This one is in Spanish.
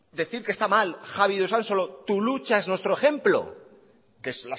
decir que está mal javi de usansolo tu lucha es nuestro ejemplo que es